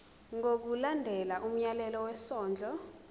ngokulandela umyalelo wesondlo